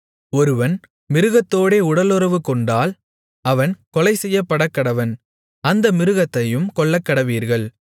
ஒருவன் மிருகத்தோடே உடலுறவுகொண்டால் அவன் கொலைசெய்யப்படக்கடவன் அந்த மிருகத்தையும் கொல்லக்கடவீர்கள்